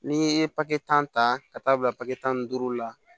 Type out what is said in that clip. N'i ye papitan ta ka taa bila papiye tan ni duuru la